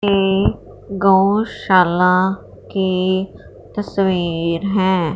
ये गौशाला की तस्वीर है।